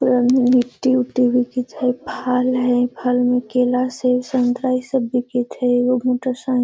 लिट्टी-उट्टी बिकित हई। फल हई फल में केला सेब संतरा ई सब बिकित हई। एगो मोटरसाइ --